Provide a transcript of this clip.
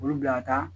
Olu bila ka taa